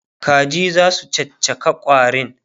Kaji zasu caccaka ƙwarin?